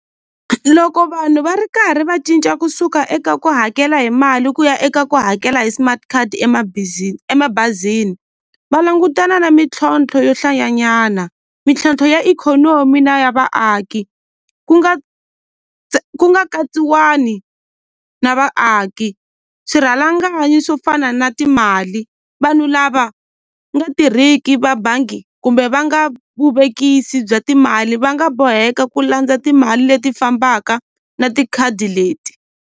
Loko vanhu va ri karhi va cinca kusuka eka ku hakela hi mali ku ya eka ku hakela hi smart card emabazini va langutana na mintlhontlho yo hlayanyana mintlhontlho ya ikhonomi na ya vaaki ku nga ku nga katsiwani na vaaki swirhalanganyi swo fana na timali vanhu lava nga tirhiki va bangi kumbe va nga vuvekisi bya timali va nga boheka ku landza timali leti fambaka na tikhadi leti.